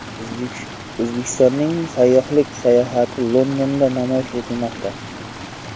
O‘zbekistonning sayyohlik salohiyati Londonda namoyish etilmoqda.